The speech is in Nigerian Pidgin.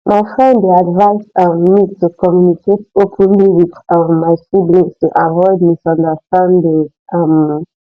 my friend dey advise um me to communicate openly with um my siblings to avoid misunderstandings um